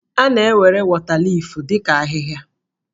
A na-ewere wọtaliif dị ka ahịhịa.